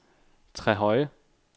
Trehøje